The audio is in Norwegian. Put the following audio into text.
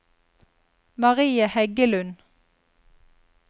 Marie Heggelund